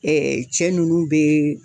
cɛ nunnu be